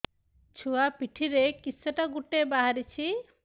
ଛୁଆ ପିଠିରେ କିଶଟା ଗୋଟେ ବାହାରିଛି